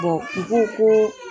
u ko ko.